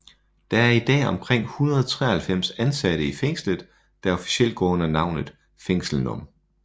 Der er i dag omkring 193 indsatte i fængslet der officielt går under navnet Fængsel num